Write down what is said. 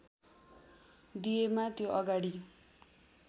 दिएमा त्यो अगाडि